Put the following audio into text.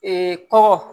kɔgɔ